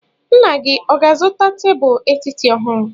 Nna gị ọ ga-azụta tebụl etiti ọhụrụ?